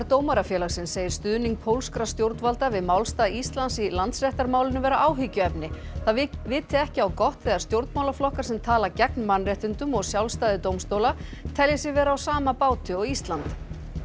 Dómarafélagsins segir stuðning pólskra stjórnvalda við málstað Íslands í Landsréttarmálinu vera áhyggjuefni það viti ekki á gott þegar stjórnmálaflokkar sem tala gegn mannréttindum og sjálfstæði dómstóla telji sig vera á sama báti og Ísland